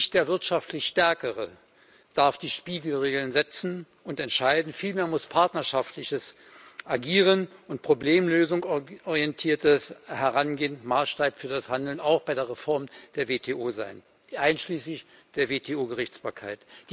Nicht der wirtschaftlich Stärkere darf die Spielregeln setzen und entscheiden, vielmehr müssen partnerschaftliches Agieren und eine auf Problemlösung ausgerichtete Herangehensweise Maßstab für das Handeln, auch bei der Reform der WTO, sein einschließlich der WTO Gerichtsbarkeit.